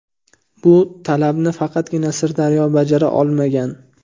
Bu talabni faqatgina Sirdaryo bajara olmagan.